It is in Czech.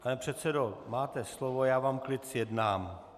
Pane předsedo, máte slovo, já vám klid zjednám.